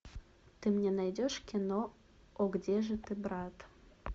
ты мне найдешь кино о где же ты брат